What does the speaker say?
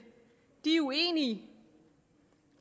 er uenige